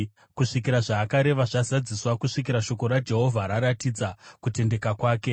kusvikira zvaakareva zvazadziswa, kusvikira shoko raJehovha raratidza kutendeka kwake.